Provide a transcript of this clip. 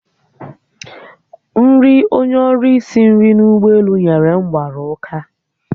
Nri onye ọrụ isi nri n'ụgbọelu nyere m mgbara ụka